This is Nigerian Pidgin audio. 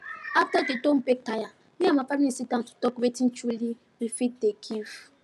after dem don beg tire me and my family sit down to talk wetin truly we fit dey give